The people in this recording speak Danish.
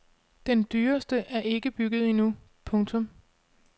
Den dyreste er ikke bygget endnu. punktum